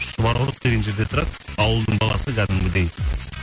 шұбарқұдық деген жерде тұрады ауылдың баласы кәдімгідей